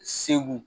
Segu